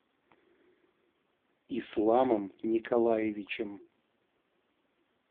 исламом николаевичем